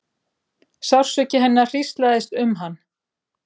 Sársauki hennar hríslaðist um hann.